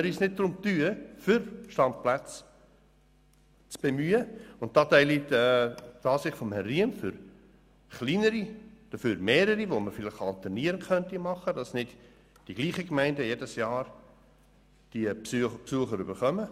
Ich teile die Ansicht von Herrn Riem, es seien kleinere, dafür mehrere und alternierend zu nutzende Plätze zu schaffen, damit nicht jedes Jahr dieselben Gemeinden diese Besucher haben.